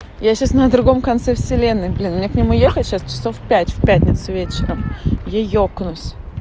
я сейчас на другом конце вселенной блин мне к нему ехать сейчас часов пять в пятницу вечером я екнусь